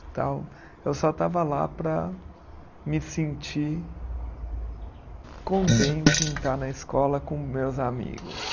Tal. Eu só estava lá para me sentir contente em estar na escola com meus amigos.